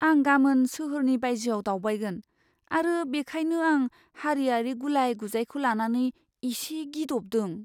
आं गामोन सोहोरनि बायजोआव दावबायगोन आरो बेखायनो आं हारियारि गुलाय गुजायखौ लानानै एसे गिदबदों।